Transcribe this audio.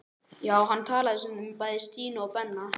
Já, hann talaði stundum um bæði Stínu og Benna.